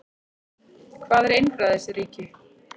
Hvað er einræðisríki?